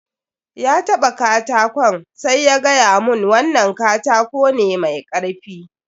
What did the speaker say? Ya taɓa katakon sai ya gaya mun wannan katako ne mai karfi.